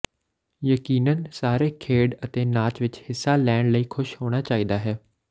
ਯਕੀਨਨ ਸਾਰੇ ਖੇਡ ਅਤੇ ਨਾਚ ਵਿੱਚ ਹਿੱਸਾ ਲੈਣ ਲਈ ਖੁਸ਼ ਹੋਣਾ ਚਾਹੀਦਾ ਹੈ